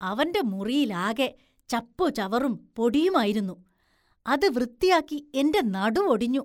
അവന്റെ മുറിയിലാകെ ചപ്പുചവറും പൊടിയുമായിരുന്നു, അത് വൃത്തിയാക്കി എന്റെ നടുവൊടിഞ്ഞു.